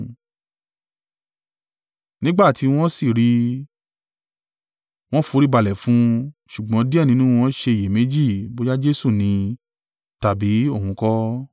Nígbà tí wọ́n sì rí i, wọ́n foríbalẹ̀ fún un. Ṣùgbọ́n díẹ̀ nínú wọn ṣe iyèméjì bóyá Jesu ni tàbí òun kọ́.